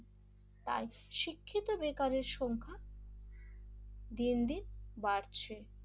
তাই শিক্ষিত বেকারের সংখ্যা দিন দিন বাড়ছে,